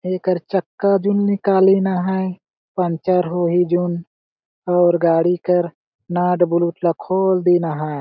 एकर चक्का जून निकालीन अहाय पँचर होईजुन और गाड़ी कर नट -बुल्टला खोल दीन अहाय।